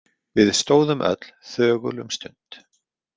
Við stóðum öll þögul um stund.